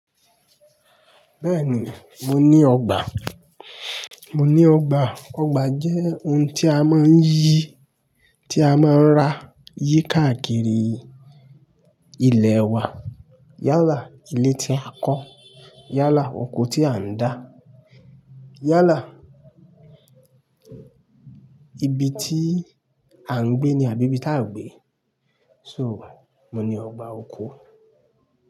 Bẹ́ẹ̀ni, mo ní ọgbà. Mo ní ọgbà. Ọgbà jẹ́ ohun tí a máa ń yí, tí a máa ń ra yí káàkiri ilẹ̀ wa. Yálà ilé tí a kọ́, yálà oko tí a ń dá, yálà ibi tí a ń gbé ní àbí ibi tí a gbé. So, mo ní ọgbà oko.